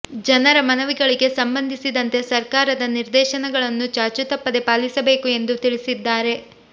ಜನರ ಮನವಿಗಳಿಗೆ ಸಂಬಂಧಿಸಿದಂತೆ ಸರ್ಕಾರದ ನಿರ್ದೇಶನಗಳನ್ನು ಚಾಚೂ ತಪ್ಪದೆ ಪಾಲಿಸಬೇಕು ಎಂದು ತಿಳಿಸಿದ್ದಾರೆ